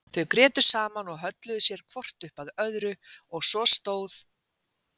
Þau grétu saman og hölluðu sér hvort upp að öðru og svo stóð